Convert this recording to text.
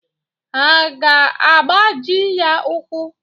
Ha aga-agbaji ya ụ́kwụ́?